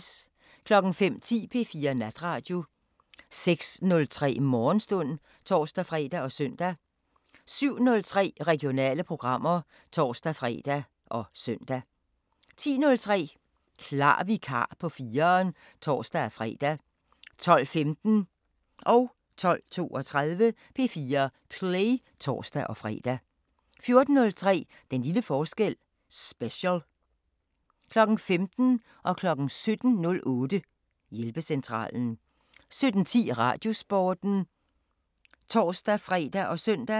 05:10: P4 Natradio 06:03: Morgenstund (tor-fre og søn) 07:03: Regionale programmer (tor-fre og søn) 10:03: Klar vikar på 4'eren (tor-fre) 12:15: P4 Play (tor-fre) 12:32: P4 Play (tor-fre) 14:03: Den lille forskel – special 15:00: Hjælpecentralen 17:08: Hjælpecentralen 17:10: Radiosporten (tor-fre og søn)